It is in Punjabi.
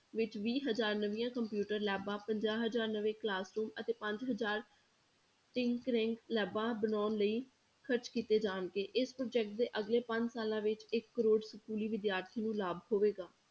ਵਿੱਚ ਵੀਹ ਹਜ਼ਾਰ ਨਵੀਆਂ computer labs ਪੰਜਾਹ ਹਜ਼ਾਰ ਨਵੇਂ classroom ਅਤੇ ਪੰਜ ਹਜ਼ਾਰ labs ਬਣਾਉਣ ਲਈ ਖ਼ਰਚ ਕੀਤੇ ਜਾਣਗੇ, ਇਸ project ਦੇ ਅਗਲੇ ਪੰਜ ਸਾਲਾਂ ਵਿੱਚ ਇੱਕ ਕਰੌੜ ਸਕੂਲੀ ਵਿਦਿਆਰਥੀ ਨੂੰ ਲਾਭ ਹੋਵੇਗਾ।